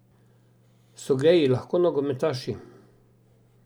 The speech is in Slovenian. So geji lahko nogometaši?